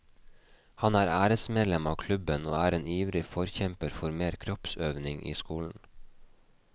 Han er æresmedlem av klubben, og er en ivrig forkjemper for mer kroppsøving i skolen.